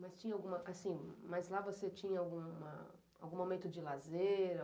Mas lá você tinha algum momento de lazer?